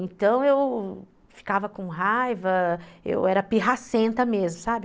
Então eu ficava com raiva, eu era pirracenta mesmo, sabe?